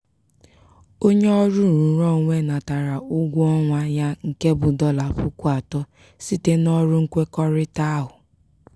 onye ọrụ nrụrụonwe natara ụgwọ ọnwa ya nke bụ dọla puku atọ site n'ọrụ nkwekọrịta ahụ.